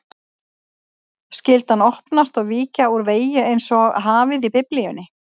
Skyldi hann opnast og víkja úr vegi einsog hafið í Biblíunni?